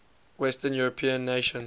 western european nations